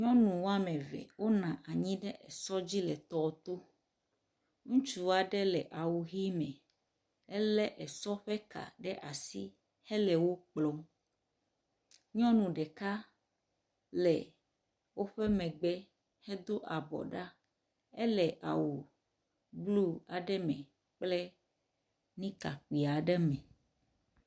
Nyɔnu wome eve wonɔ anyi ɖe esɔ dzi le tɔ to. Ŋutsu aɖe le awu ʋi me ele esɔa ƒe ka ɖe asi hele wo kplɔm. Nyɔnu ɖeka le woƒe megbe hedo abɔ ɖa. Ele awu blu aɖe me kple nika kpui aɖe me.